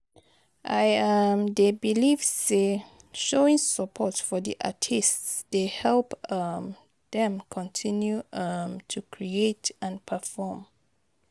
i um dey believe say showing support for di artists dey help um dem continue um to create and perform.